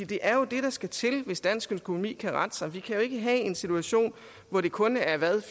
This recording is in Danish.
det er jo det der skal til hvis dansk økonomi skal rette sig vi kan jo ikke have en situation hvor det kun er hvad